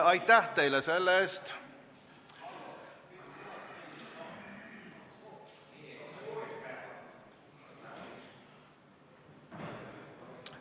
Aitäh teile selle eest!